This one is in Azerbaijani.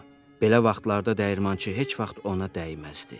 Belə vaxtlarda dəyirmançı heç vaxt ona dəyməzdi.